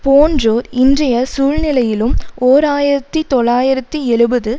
போன்றோர் இன்றைய சூழ்நிலையிலும் ஓர் ஆயிரத்தி தொள்ளாயிரத்தி எழுபது